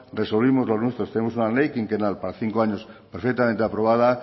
resolvimos los nuestros tenemos una ley quinquenal para cinco años perfectamente aprobada